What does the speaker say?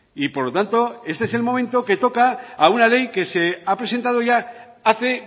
y por lo tanto este es el momento que toca a una ley que se ha presentado ya hace